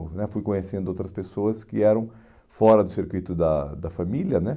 né Fui conhecendo outras pessoas que eram fora do circuito da da família, né?